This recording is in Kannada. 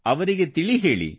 ಅವರಿಗೆ ತಿಳಿಹೇಳಿ